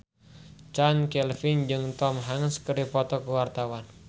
Chand Kelvin jeung Tom Hanks keur dipoto ku wartawan